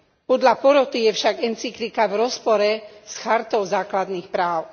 Podľa poroty je však encyklika v rozpore s chartou základných práv.